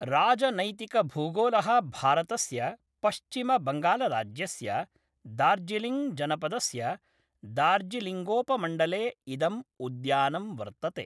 राजनैतिकभूगोलः भारतस्य पश्चिमबङ्गालराज्यस्य दार्जिलिङ्ग्जनपदस्य दार्जिलिङ्गोपमण्डले इदम् उद्यानं वर्तते।